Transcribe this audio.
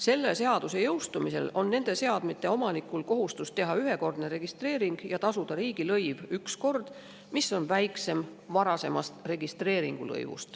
Selle seaduse jõustumisel on nende seadmete omanikel kohustus teha ühekordne registreering ja tasuda üks kord riigilõiv, mis on väiksem kui senine registreeringulõiv.